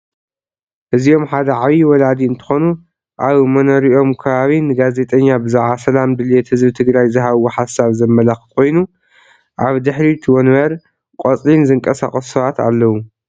እዚኦም ሐደ ዓብዩ ወላዲ እንትኾኑ አብ መኖርኦም ከባቢ ንጋዚጠኛ ብዘዓባ ሰላም ድሌት ህዝቢ ትግራይ ዝሃብዎ ሐሳብ ዘመላኽት ኮይኑ አብ ድሕሪት ወንበር፣ ቆፅሊን ዝንቃሳቀሱ ሰባት አለው።